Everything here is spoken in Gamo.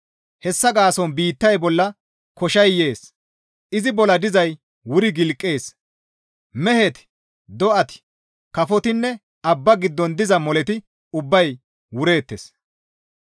Hessa gaason biittay bolla koshay yees; izi bolla dizay wuri gilqees; meheti, do7ati, kafotinne Abba giddon diza moleti ubbay wureettes.»